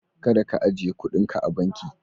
Kada ka ajiye kudinka a banki.